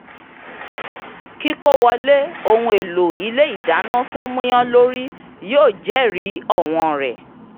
kíkówòlé ohun èlò ilé ìdáná tó múyàn lórí yóò jẹ́rìí owón rẹ̀